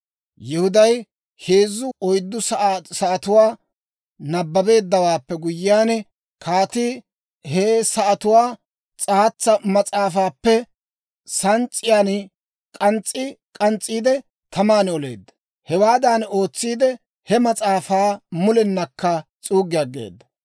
Yihuday heezzu woy oyddu sa'atuwaa nabbabeeddawaappe guyyiyaan, kaatii he sa'atuwaa s'aatsa mas'aafaappe sans's'iyan k'ans's'i k'ans's'iide, taman oleedda; hewaadan ootsiide, he mas'aafaa mulennakka s'uuggi aggeeda.